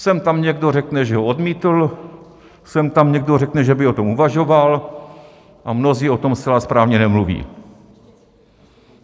Sem tam někdo řekne, že ho odmítl, sem tam někdo řekne, že by o tom uvažoval, a mnozí o tom zcela správně nemluví.